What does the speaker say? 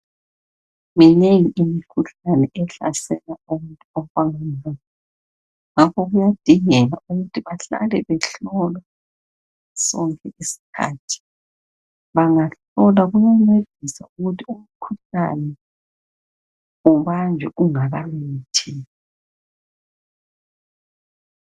Minengi imkhuhlane ehlasele abantu. Ngakho kuyadingeka ukuthi bahlale behlolwa sonke isikhathi. Bangahlolwa kuyancedisa ukuthi umkhuhlane ubanjwe ungakamemetheki.